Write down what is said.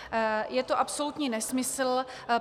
Je to absolutní nesmysl.